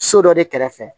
So dɔ de kɛrɛfɛ